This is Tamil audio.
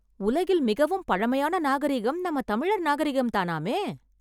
உலகில் மிகவும் பழமையான நாகரீகம் நம்ம தமிழர் நாகரிகம் தானாமே.